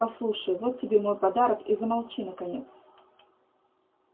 послушай вот тебе мой подарок и замолчи наконец